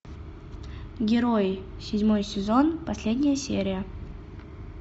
герои седьмой сезон последняя серия